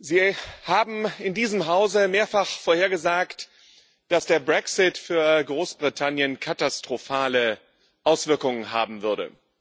Sie haben in diesem Hause mehrfach vorhergesagt, dass der Brexit für Großbritannien katastrophale Auswirkungen haben würde.